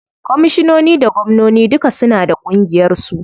Komishinoni da gwamnoni duka suna da ƙungiyar su.